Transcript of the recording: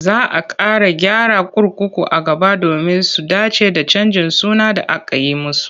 Za a ƙara gyara kurkuku a gaba domin su dace da canjin suna da aka yi musu.